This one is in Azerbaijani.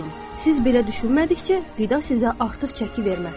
Siz belə düşünmədikcə, qida sizə artıq çəki verməz.